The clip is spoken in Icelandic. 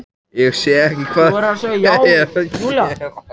Ég sé ekki hvað þau eru að gera.